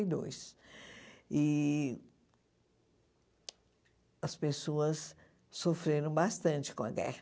e dois. E as pessoas sofreram bastante com a guerra.